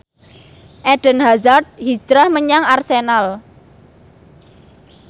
Eden Hazard hijrah menyang Arsenal